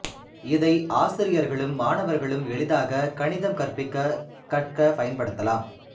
இதை ஆசிரியர்களும் மாணவர்களும் எளிதாக கணீதம் கற்பிக்க கற்க பயன்படுத்தலாம்